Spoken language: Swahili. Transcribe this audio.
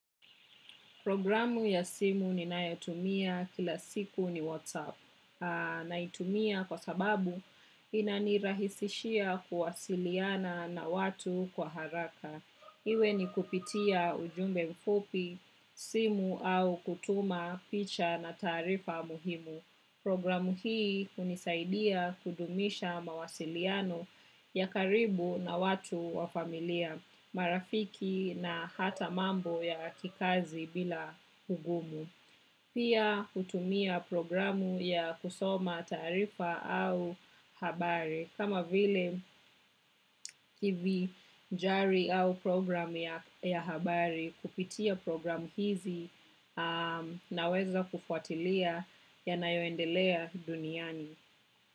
Programu ya simu ninayotumia kila siku ni WhatsApp naitumia kwa sababu inanirahisishia kuwasiliana na watu kwa haraka. Iwe ni kupitia ujumbe mfupi, simu au kutuma, picha na tarifa muhimu. Programu hii hunisaidia kudumisha mawasiliano ya karibu na watu wa familia. Marafiki na hata mambo ya kikazi bila ugumu. Pia hutumia programu ya kusoma tarifa au habari kama vile kivi njari au programu ya habari kupitia programu hizi naweza kufuatilia yanayoendelea duniani.